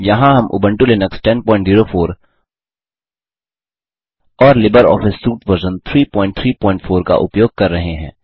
यहाँ हम Ubuntu Linux 1004 और लिबरऑफिस सूट वर्जन 334का उपयोग कर रहे हैं